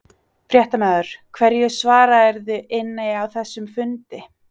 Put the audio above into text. Fréttamaður: Hverju svararðu inni á þessum fundi?